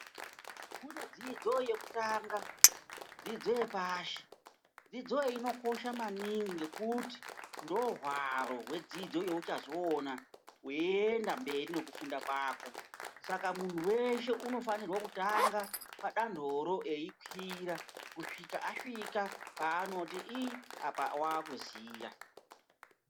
Kune dzidzo yekutanga, dzidzo yekupashi. Dzidzo iyi inokosha maningi ngekuti ndohwaro hwedzidzo yeuchazoona weienda mberi nekufunda kwako, Saka munhu weshe inofanirwa kutanga padonhoro eikwira kusvika asvika paanoti Ii apa wakuziya.